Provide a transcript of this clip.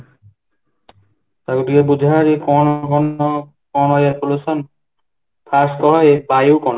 ତାକୁ ଟିକେ ବୁଝା ଆଗେ କ'ଣ air pollution ? first କହ ଏ ବାୟୁ କ'ଣ ?